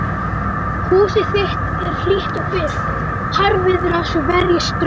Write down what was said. Húsið þitt er hlýtt og byrgt, harðviðra svo verjist straumi.